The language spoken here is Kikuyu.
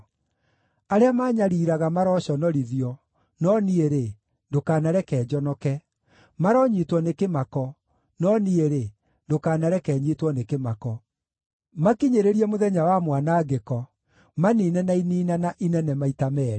Arĩa maanyariiraga maroconorithio, no niĩ-rĩ, ndũkanareke njonoke; maronyiitwo nĩ kĩmako, no niĩ-rĩ, ndũkanareke nyiitwo nĩ kĩmako. Makinyĩrĩrie mũthenya wa mwanangĩko; maniine na iniinana inene maita meerĩ.